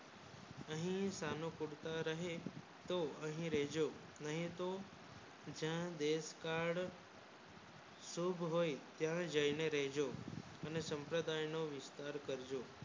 કહી થાનો પડતા રહે તો કહી રેહજો નહિ તો જા દેશ કાળ ચૂક હોય થાય દેશ ને રેહજો અને સંપ્રદાય ને વિસ્તાર કરજો